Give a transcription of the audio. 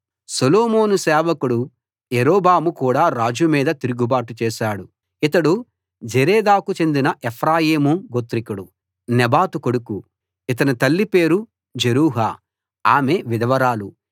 సొలొమోను సేవకుడు యరొబాము కూడా రాజు మీద తిరుగుబాటు చేశాడు ఇతడు జెరేదాకు చెందిన ఎఫ్రాయీము గోత్రికుడు నెబాతు కొడుకు ఇతని తల్లి పేరు జెరూహా ఆమె విధవరాలు